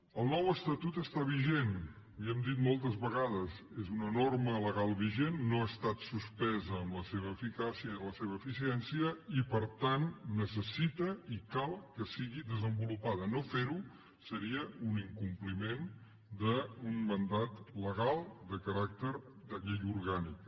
el nou estatut està vigent li ho hem dit moltes vegades és una norma legal vigent no ha estat suspesa en la seva eficàcia i en la seva eficiència i per tant necessita i cal que sigui desenvolupada no ferho seria un incompliment d’un mandat legal de caràcter de llei orgànica